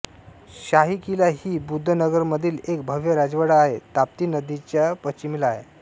शाही किला ही बुद्धानगरमधील एक भव्य राजवाडा आहे ताप्ती नदीच्या पश्चिमेला आहे